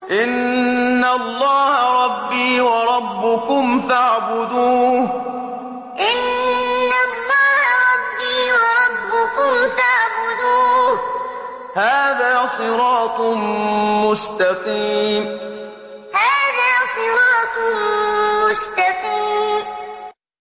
إِنَّ اللَّهَ رَبِّي وَرَبُّكُمْ فَاعْبُدُوهُ ۗ هَٰذَا صِرَاطٌ مُّسْتَقِيمٌ إِنَّ اللَّهَ رَبِّي وَرَبُّكُمْ فَاعْبُدُوهُ ۗ هَٰذَا صِرَاطٌ مُّسْتَقِيمٌ